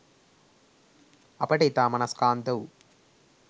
අපට ඉතා මනස්කාන්ත වූ